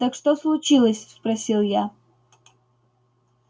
так что случилось спросил я